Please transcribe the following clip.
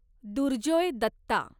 Durjoy Datta